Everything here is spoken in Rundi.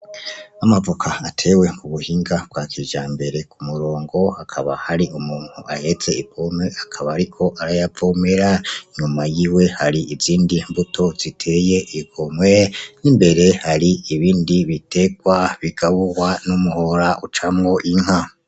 Amavoka atewe ku buhinga bwa kijambere ku murongo. Hakaba hari umuntu ahetse ipompo, akaba ariko arayavomera. Inyuma yiwe hari izindi mbuto ziteye igomwe. N'imbere hari ibindi biterwa bigaburwa n'umuhora ucamwo inka.